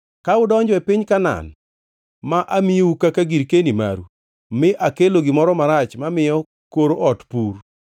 “Ka udonjo e piny Kanaan, ma amiyou kaka girkeni maru, mi akelo gimoro marach mamiyo kor ot pur,